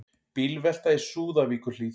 Bílvelta í Súðavíkurhlíð